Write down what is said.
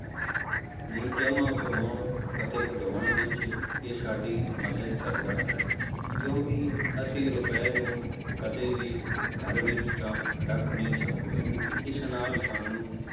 ਨੂੰ ਜਮਾਂ ਕਰਵਾਉਣ ਅਤੇ ਕਢਵਾਉਣ ਵਿੱਚ ਇਹ ਸਾਡੀ ਮਦਦ ਕਰਦਾ ਹੈ, ਕਿਉਂਕਿ ਅਸੀਂ ਰੁਪਏ ਨੂੰ ਕਦੇ ਵੀ ਘਰ ਵਿੱਚ ਤਾਂ ਰੱਖ ਨਹੀਂ ਸਕਦੇ, ਇਸ ਨਾਲ ਸਾਨੂੰ